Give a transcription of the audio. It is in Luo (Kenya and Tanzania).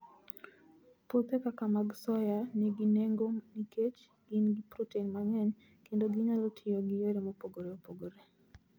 Puothe kaka mag soya nigi nengo nikech gin gi protein mang'eny kendo ginyalo tiyo gi yore mopogore opogore.